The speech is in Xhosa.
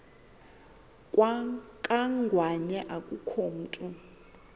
kangwanya akukho mntu